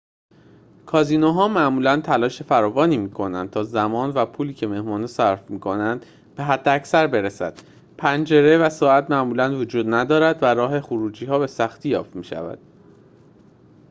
کازینوها معمولاً تلاش فراوان می‌کنند تا زمان و پولی که مهمان‌ها صرف می‌کنند به حداکثر برسد پنجره و ساعت معمولاً وجود ندارد و راه خروجی‌ها به سختی یافت می‌شود